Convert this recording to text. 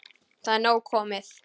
Það er nóg komið.